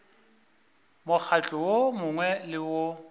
mokgatlo wo mongwe le wo